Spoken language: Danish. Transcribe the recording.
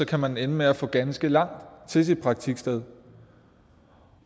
kan man ende med at få ganske langt til sit praktiksted